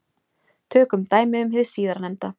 Tökum dæmi um hið síðarnefnda.